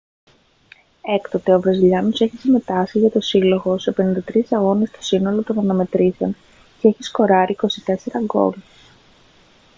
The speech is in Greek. έκτοτε ο βραζιλιάνος έχει συμμετάσχει για τον σύλλογο σε 53 αγώνες στο σύνολο των αναμετρήσεων και έχει σκοράρει 24 γκολ